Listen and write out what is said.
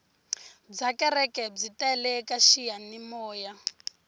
bya kereke byi tele ka xiyanimoya